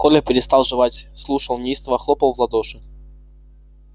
коля перестал жевать слушал неистово хлопал в ладоши